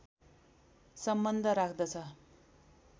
सम्बन्ध राख्दछ